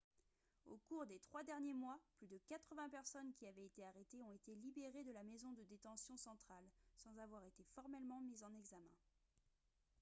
au cours des trois derniers mois plus de 80 personnes qui avaient été arrêtées ont été libérées de la maison de détention centrale sans avoir été formellement mises en examen